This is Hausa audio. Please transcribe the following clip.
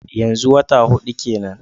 Yanzu wata hudu kenan?